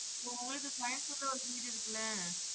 ஒஹ்ஹ உங்களுக்கு கோயம்புத்தூர்ல ஒரு வீடு இருக்குல?